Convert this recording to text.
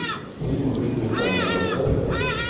фильм в ритме танго поставь ка